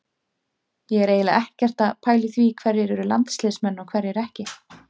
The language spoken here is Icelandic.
Ég er eiginlega ekkert að pæla í því hverjir eru landsliðsmenn og hverjir ekki.